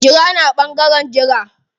Jira ni a ɓangaren jira.